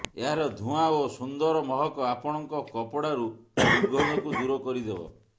ଏହାର ଧୂଆଁ ଓ ସୁନ୍ଦର ମହକ ଆପଣଙ୍କ କପଡ଼ାରୁ ଦୁର୍ଗନ୍ଧକୁ ଦୂର କରି ଦେବ